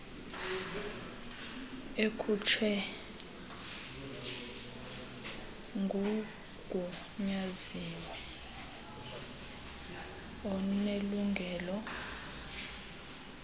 ekhutshwe ngugunyaziwe onelungelo